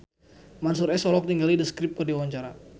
Mansyur S olohok ningali The Script keur diwawancara